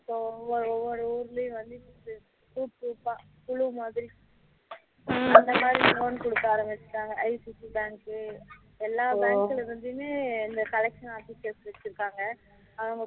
இப்போ ஒவ்வொரு ஊருலயும் வந்து இப்போ group group குழு மாதிரி அந்த மாதிரி loan குடுக்க ஆரமிச்சிட்டாங்க ICICI எல்லா bank ல இருந்துமே இந்த collection office எடுத்து வச்சிருக்காங்க அவங்க